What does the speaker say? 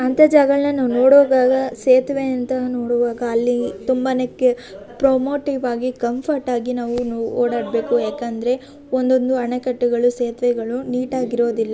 ಹಂತಾ ಜಗಳನ ನೋಡುವಾಗ ಸೇತುವೆ ಅಂತಾ ನೋಡುವಾಗ ಅಲ್ಲಿ ತುಂಬಾ ಪ್ರೋಮೊಟಿವ ಆಗಿ ಕಂಫರ್ಟ್ ಆಗಿ ನಾವು ಓಡಾಡಬೇಕು ಯಾಕಂದ್ರೆ ಒಂದೊಂದು ಆಣೆಕಟ್ಟುಗಳು ಸೇತುವೆಗಳು ನೀಟಾಗಿ ಇರೋದಿಲ್ಲ.